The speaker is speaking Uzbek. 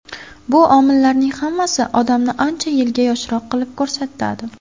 Bu omillarning hammasi odamni ancha yilga yoshroq qilib ko‘rsatadi.